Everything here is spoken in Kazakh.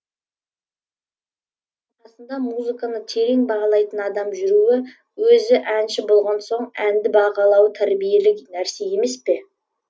қасында музыканы терең бағалайтын адам жүруі өзі әнші болған соң әнді бағалауы тәрбиелік нәрсе емес пе